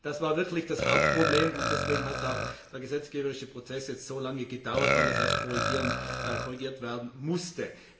3. Das war wirklich das Hauptproblem, und deswegen hat auch der gesetzgeberische Prozess jetzt so lange gedauert, weil das erst korrigiert werden musste.